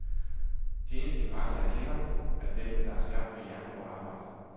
De eneste mirakler, jeg kender, er dem, der er skabt ved jernhårdt arbejde.